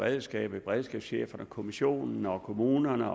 beredskaber beredskabscheferne kommissionen og kommunerne